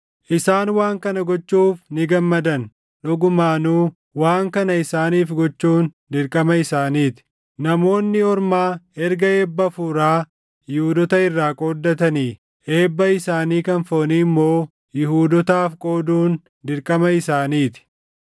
Isaan waan kana gochuuf ni gammadan; dhugumaanuu waan kana isaaniif gochuun dirqama isaanii ti. Namoonni Ormaa erga eebba hafuuraa Yihuudoota irraa qooddatanii, eebba isaanii kan foonii immoo Yihuudootaaf qooduun dirqama isaanii ti.